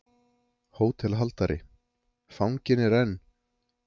HÓTELHALDARI: Fanginn er enn.